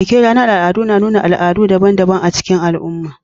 Bikin ranar al'adu na nuna al'adu daban-daban a cikin al'umma